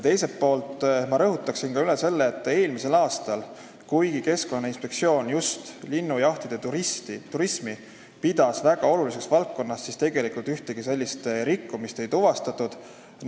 Teiselt poolt rõhutan üle, et eelmisel aastal, kuigi Keskkonnainspektsioon just linnujahiturismi pidas väga oluliseks valdkonnaks, tegelikult ühtegi rikkumist ei tuvastatud.